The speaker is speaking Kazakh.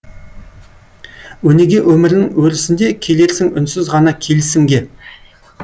өнеге өмірінің өрісінде келерсің үнсіз ғана келісімге